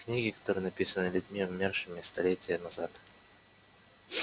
книги которые написаны людьми умершими столетия назад